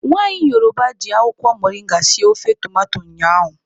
Nwaanyị Yoroba jị akwụkwọ moringa sie ofe tomato ụnyaahụ.